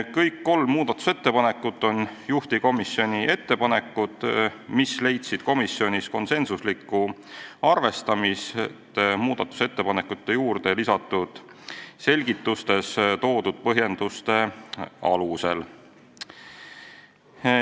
Kõik kolm muudatusettepanekut on juhtivkomisjoni ettepanekud ja need leidsid komisjonis konsensuslikku arvestamist juurde lisatud selgitustes toodud põhjenduste alusel.